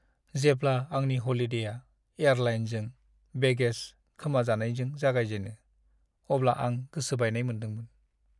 जेब्ला आंनि ह'लिडेआ एयारलाइनजों बेगेज खोमाजानायजों जागायजेनो, अब्ला आं गोसो बायनाय मोन्दोंमोन।